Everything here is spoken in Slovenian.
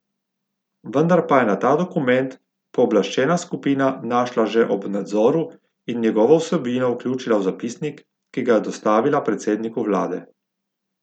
Vendar pa je na ta dokument pooblaščena skupina našla že ob nadzoru in njegovo vsebino vključila v zapisnik, ki ga je dostavila predsedniku vlade.